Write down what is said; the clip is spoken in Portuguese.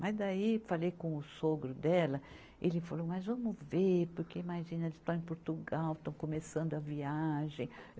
Mas daí falei com o sogro dela, ele falou, mas vamos ver, porque imagina, eles estão em Portugal, estão começando a viagem.